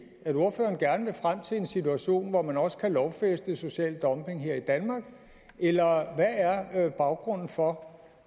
at ordføreren gerne vil frem til en situation hvor man også kan lovfæste social dumping her i danmark eller hvad er baggrunden for